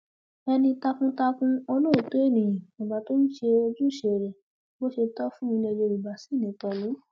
ẹni takuntakun olóòótọ ènìyàn bàbá tó ń ṣojúṣe rẹ bó ṣe tọ fún ilẹ yorùbá ṣì ni pẹlú